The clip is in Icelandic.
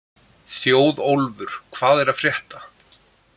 Þjóðólfur, hvað er að frétta?